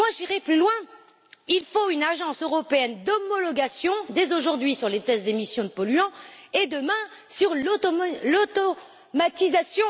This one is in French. J'irais même plus loin il faut une agence européenne d'homologation, dès aujourd'hui, sur les tests d'émissions polluantes et, demain, sur l'automatisation.